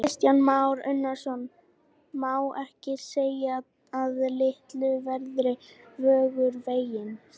Kristján Már Unnarsson: Má ekki segja að litlu verður Vöggur feginn?